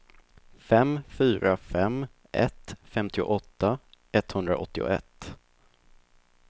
fem fyra fem ett femtioåtta etthundraåttioett